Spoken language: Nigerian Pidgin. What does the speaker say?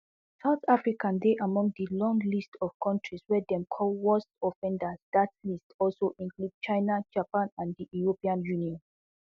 south africa dey among di long list of kontris wey dem call worst offenders dat list also include china japan and di european union